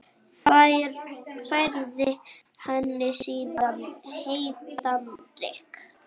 Færði henni síðan heitan drykk.